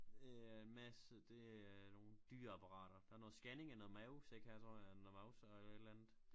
Øh messe det er nogle dyre apparater der er noget skanning af noget mavesæk her tror jeg noget mavse og et eller andet